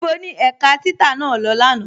Níbo ni ẹ̀ká títà naa lọ́ lánà?